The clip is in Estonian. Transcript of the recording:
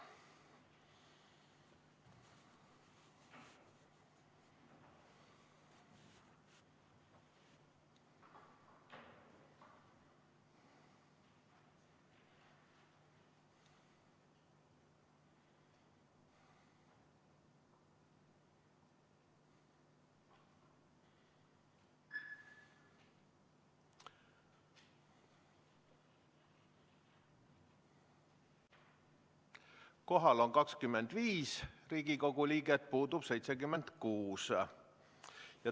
Kohal on 25 Riigikogu liiget, puudub 76.